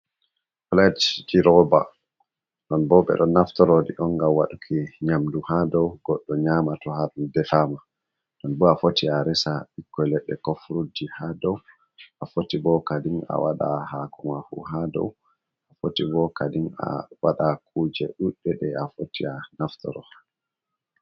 puletji rooba ɗon bo, ɓe ɗo naftoro ɗi on, nga waɗuki nyamdu haa dow, goɗɗo nyaama to haa ɗum defaama. Ɗon bo a foti, a resa ɓikkon leɗɗe ko furutji haa dow, a foti bo kadin, a waɗa haako ma haa dow, a foti bo kadin a waɗa kuje ɗuɗɗe, ɗe a foti a naftoro.